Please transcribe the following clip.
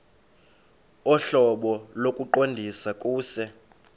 ohlobo lokuqondisa kuse